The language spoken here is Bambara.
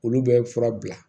Olu bɛ fura bila